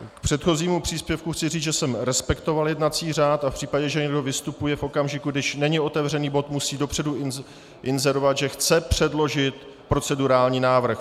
K předchozímu příspěvku chci říct, že jsem respektoval jednací řád a v případě, že někdo vystupuje v okamžiku, kdy není otevřený bod, musí dopředu inzerovat, že chce předložit procedurální návrh.